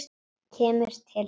Kemur til hans.